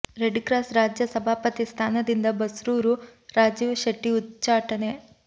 red cross ರಾಜ್ಯ ಸಭಾಪತಿ ಸ್ಥಾನದಿಂದ ಬಸ್ರೂ ರು ರಾಜೀವ್ ಶೆಟ್ಟಿ ಉಚ್ಛಾಟನೆ